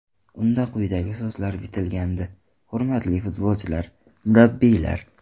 Unda quyidagi so‘zlar bitilgandi: Hurmatli futbolchilar, murabbiylar!